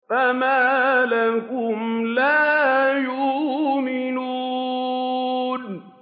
فَمَا لَهُمْ لَا يُؤْمِنُونَ